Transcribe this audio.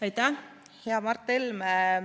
Aitäh, hea Mart Helme!